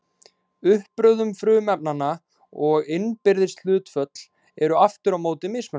Uppröðun frumefnanna og innbyrðis hlutföll eru aftur á móti mismunandi.